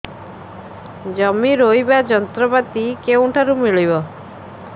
ଜମି ରୋଇବା ଯନ୍ତ୍ରପାତି କେଉଁଠାରୁ ମିଳିବ